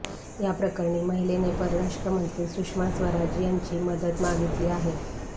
याप्रकरणी महिलेनं परराष्ट्र मंत्री सुषमा स्वराज यांची मदत मागितली आहे